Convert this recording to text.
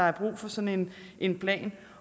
er brug for sådan en plan